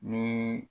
Ni